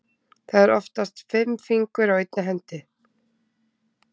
Það eru oftast fimm fingur á einni hendi.